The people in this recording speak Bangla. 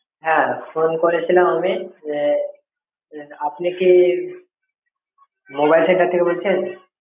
হ্যাঁ phone করেছিলাম আমি এ, আপনি কি mobile center থেকে বলছেন?